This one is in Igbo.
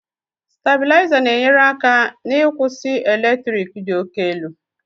Stabilizer na-enyere aka n'ịkwụsị eletrik dị òkè elu.